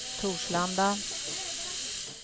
Torslanda